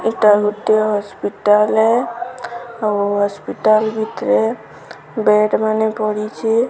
ଇଟା ଗୋଟେ ହସ୍ପିଟାଲ ହେ ଆଉ ହସ୍ପିଟାଲ ଭିତରେ ବେଡ ମାନେ ପଡିଚି।